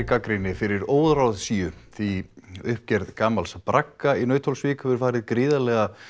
gagnrýni fyrir óráðsíu því uppgerð gamals bragga í Nauthólsvík hefur farið gríðarlega